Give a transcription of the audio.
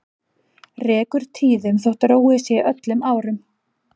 Rekur tíðum þó róið sé öllum árum.